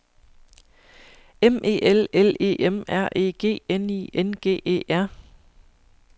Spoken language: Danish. M E L L E M R E G N I N G E R